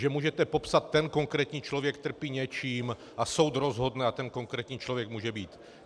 Že můžete popsat: ten konkrétní člověk trpí něčím - a soud rozhodne a ten konkrétní člověk může být.